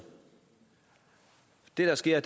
det der sker